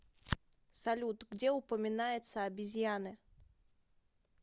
салют где упоминается обезьяны